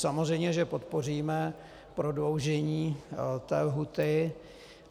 Samozřejmě že podpoříme prodloužení lhůty.